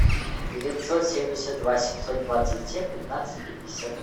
девятьсот семьдесят два семьсот двадцать семь пятнадцать пятьдесят